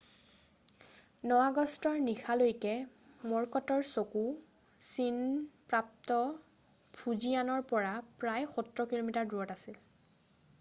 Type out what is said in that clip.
9 আগষ্টৰ নিশালৈকে ম'ৰকটৰ চকু চীন প্ৰাপ্ত ফুজিয়ানৰ পৰা প্ৰায় সত্তৰ কিলোমিটাৰ দূৰত আছিল৷